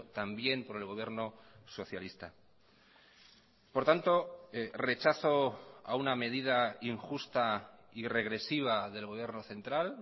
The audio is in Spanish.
también por el gobierno socialista por tanto rechazo a una medida injusta y regresiva del gobierno central